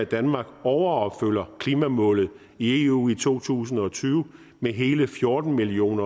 danmark overopfylder klimamålet i eu i to tusind og tyve med hele fjorten million